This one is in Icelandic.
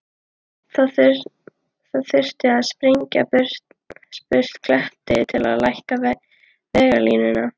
Það þurfi að sprengja burt klett til að lækka veglínuna.